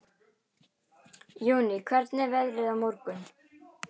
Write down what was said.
Jóný, hvernig er veðrið á morgun?